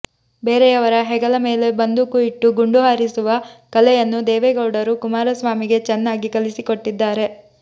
ಬೇರೆಯವರ ಹೆಗಲ ಮೇಲೆ ಬಂದುಕು ಇಟ್ಟು ಗುಂಡು ಹಾರಿಸುವ ಕಲೆಯನ್ನು ದೇವೆಗೌಡರು ಕುಮಾರಸ್ವಾಮಿಗೆ ಚನ್ನಾಗಿ ಕಲಿಸಿಕೊಟ್ಟಿದ್ದಾರೆ